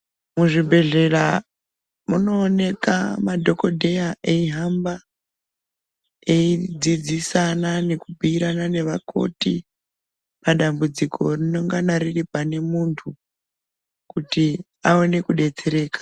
Muzvibhedhlera munoonekwa madhokodheya eihamba eidzidzisana nekubhuirana nevakoti Madambudziko rinongana riri pane muntu kuti aone kudetsereka.